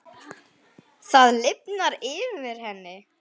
Það lifnar yfir henni.